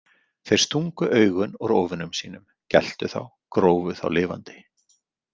Þeir stungu augun úr óvinum sínum, geltu þá, grófu þá lifandi.